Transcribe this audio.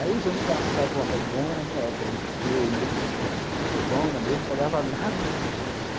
Aí os anos passaram e eu falei, bom, era minha época, que eu ia para a zona mesmo, não pegava nada